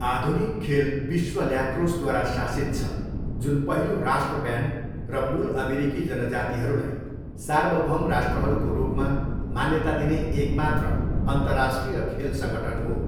आधुनिक खेल विश्व ल्याक्रोसद्वारा शासित छ, जुन पहिलो राष्ट्र ब्यान्ड र मूल अमेरिकी जनजातिहरूलाई सार्वभौम राष्ट्रहरूको रूपमा मान्यता दिने एक मात्र अन्तर्राष्ट्रिय खेल सङ्गठन हो।